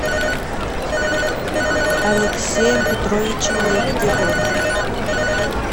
алексеем петровичем лебедевым